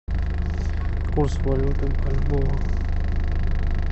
курс валюты бальбоа